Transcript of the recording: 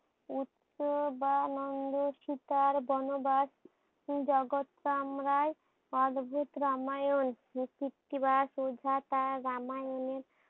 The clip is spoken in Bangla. উচ্চ বা নন্দ সীতার বনবাস জগৎটাই আমরা অদ্ভুত রামায়ণ কৃত্তিবাস ওঝা শুদ্ধ তার রামায়ণে